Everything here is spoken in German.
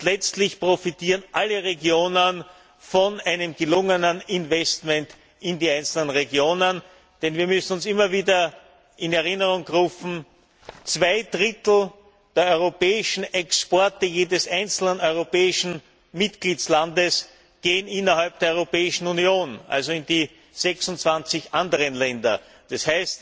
Letztlich profitieren alle Regionen von gelungenen Investitionen in die einzelnen Regionen, denn wir müssen uns immer wieder in Erinnerung rufen Zwei Drittel der europäischen Exporte jedes einzelnen europäischen Mitgliedstaats gehen in die Europäische Union, also in die anderen 26 Länder,